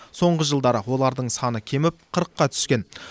соңғы жылдары олардың саны кеміп қырыққа түскен